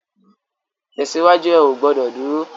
Tèsiwájú, è ó gbòdò dúró